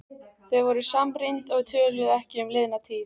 Þau voru samrýnd og töluðu ekki um liðna tíð.